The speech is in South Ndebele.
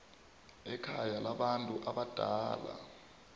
ekhaya labantu abadala